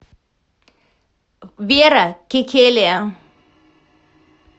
вера кекелия